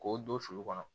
K'o don sulu kɔnɔ